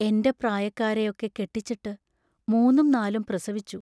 എന്റെ പ്രായക്കാരെ യൊക്കെ കെട്ടിച്ചിട്ട് മൂന്നും നാലും പ്രസവിച്ചു.